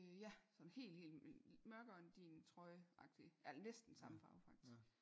Ja sådan helt helt mørkere end din trøje agtigt ja næsten samme farve faktisk